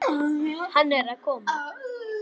Hann er að koma!